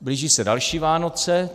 Blíží se další Vánoce.